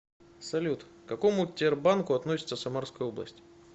салют к какому тербанку относится самарская область